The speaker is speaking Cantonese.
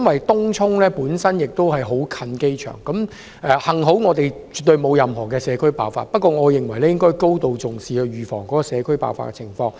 東涌鄰近機場，幸好本港沒有出現社區爆發麻疹的情況，但我們應該高度重視，預防社區爆發。